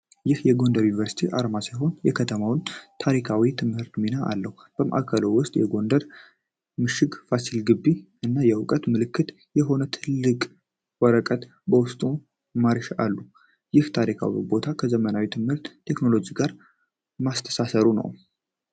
ይህ የጎንደር ዩኒቨርሲቲ አርማ ሲሆን፣ የከተማውን ታሪካዊና ትምህርታዊ ሚና አለው። በማዕከሉ ውስጥ የጎንደር ምሽግ (ፋሲል ግቢ) እና የእውቀት ምልክት የሆነ ጥቅል ወረቀት በውስጡ ማርሽ አሉ። ይህ ታሪካዊ ቦታን ከዘመናዊ ትምህርትና ቴክኖሎጂ ጋር ማስተሳሰሩን ነው።